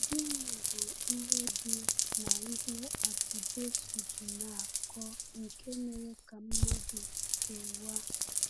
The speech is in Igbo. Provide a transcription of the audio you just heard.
Gịnị bụ ihe dị n’ihe atụ Jésù ji na-akọ nke mere ka mmadụ kewaa?